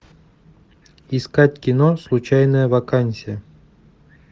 искать кино случайная вакансия